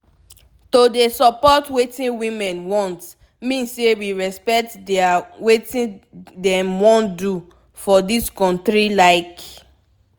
to dey support wetin women want mean say we respect dia wetin dem wan do for dis kontri like